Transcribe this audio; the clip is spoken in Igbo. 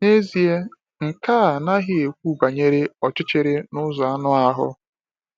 N’ezie, nke a anaghị ekwu banyere ọchịchịrị n’ụzọ anụ ahụ.